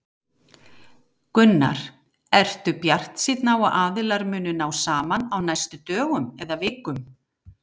Gunnar: Ertu bjartsýnn á að aðilar muni ná saman á næstu dögum eða vikum?